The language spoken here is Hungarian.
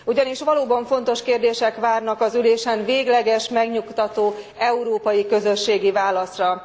Ugyanis valóban fontos kérdések várnak az ülésen végleges, megnyugtató, európai közösségi válaszra.